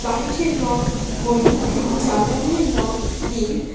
বাড়িটির রং হলুদ এবং জানলাগুলির লং নীল।